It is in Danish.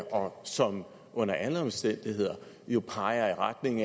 og som under alle omstændigheder jo peger i retning